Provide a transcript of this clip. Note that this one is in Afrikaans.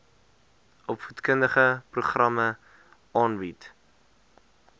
opvoedkundige programme aanbied